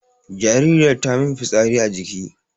jaririyar tamin fitsari a jiki